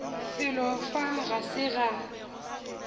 felo fa ga se ga